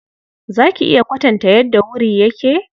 Za ki iya kwatanta yadda wuri yake?